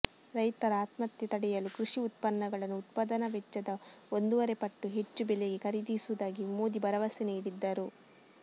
ರೈತರ ಆತ್ಮಹತ್ಯೆ ತಡೆಯಲು ಕೃಷಿ ಉತ್ಪನ್ನಗಳನ್ನು ಉತ್ಪಾದನಾ ವೆಚ್ಚದ ಒಂದೂವರೆಪಟ್ಟು ಹೆಚ್ಚು ಬೆಲೆಗೆ ಖರೀದಿಸುವುದಾಗಿ ಮೋದಿ ಭರವಸೆ ನೀಡಿದ್ದರು